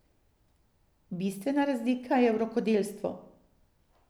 Bistvena razlika je v rokodelstvu.